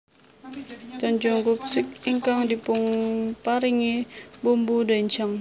Tojangguk sup ingkang dipunparingi bumbu doenjang